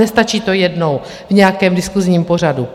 Nestačí to jednou v nějakém diskusním pořadu.